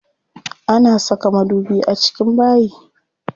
Ana saka madubi a cikin bayi.